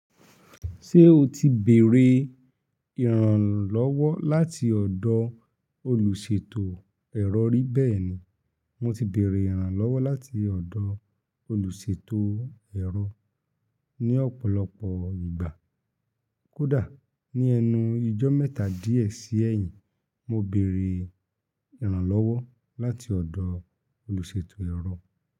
Ṣé o ti bèrè ìrànlọ́wọ́ láti ọ̀dọ̀ olùṣètò ẹ̀rọ rí bẹ́ẹ̀ni, mo ti bèrè ìrànlọ́wọ́ láti ọ̀dọ̀ olùṣètò ẹ̀rọ ní ọ̀pọ̀lọpọ̀ ìgbà. Kódà ní ẹnu ijọ́ mẹ́ta di ẹ sì ẹyin, mo bèrè ìrànlọ́wọ́ láti ọ̀dọ̀ olùṣètò ẹ̀rọ.